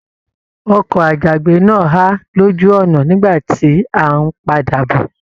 Ọkọ àjàgbé náà ha lójú ọnà nígbà tí a n padà bọ.